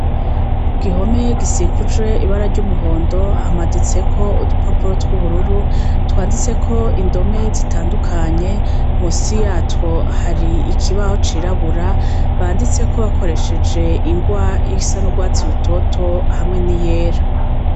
Ku gihome gisikuje ibara ry'umuhondo ahamaditseko udupapuro tw'ubururu twanditse ko indome zitandukanye musi yatwo hari ikibaho cirabura banditse ko bakoresheje ingwa y'isa n'urwatsi rutoto hamwe ni yera.